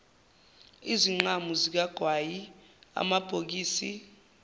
izinqamu zikagwayi amabhokisi